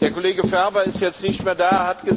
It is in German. Der Kollege Ferber ist jetzt nicht mehr da